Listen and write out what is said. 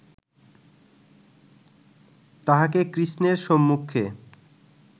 তাহাকে কৃষ্ণের সম্মুখে